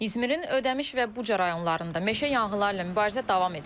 İzmərin ödəmiş və buca rayonlarında meşə yanğınları ilə mübarizə davam edir.